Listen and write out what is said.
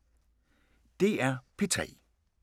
DR P3